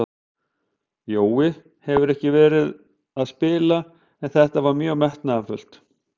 Jói hefur ekki verið að spila en þetta var mjög metnaðarfullt.